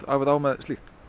af eða á með slíkt